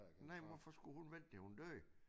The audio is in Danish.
Nej men hvorfor skulle hun vente til hun døde